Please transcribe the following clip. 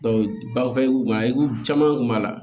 bafɛreku mako caman kun b'a la